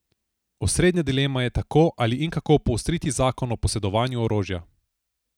Osrednja dilema je tako, ali in kako poostriti zakon o posedovanju orožja.